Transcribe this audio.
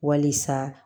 Walisa